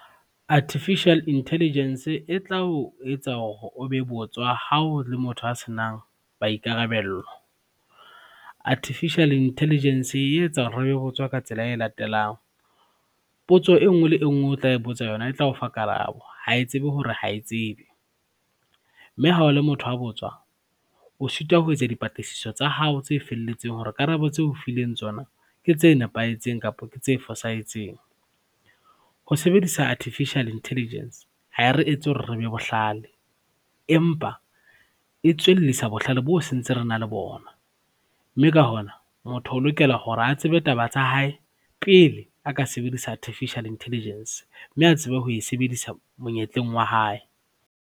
Artificial Intelligence e tla o etsa hore o be botswa hao le motho a senang maikarabello. Artificial Intelligence e etsa hore re be botswa ka tsela e latelang, potso e ngwe le e ngwe o tla e botsa yona e tla o fa karabo ha e tsebe hore ha e tsebe, mme ha o le motho a botswa o sitwa ho etsa dipatlisiso tsa hao tse felletseng hore karabo tseo fileng tsona ke tse nepahetseng kapa ke tse fosahetseng. Ho sebedisa Artificial Intelligence ha e re etse hore re be bohlale, empa e tswellisa bohlale boo se ntse re na le bona, mme ka hona motho o lokela hore a tsebe taba tsa hae pele a ka sebedisa Artificial Intelligence, mme a tsebe ho e sebedisa monyetleng wa hae.